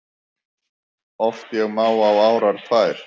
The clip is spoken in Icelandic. Oft ég má á árar tvær